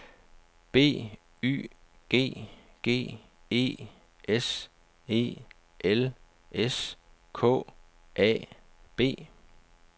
B Y G G E S E L S K A B